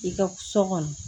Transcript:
I ka so kɔnɔ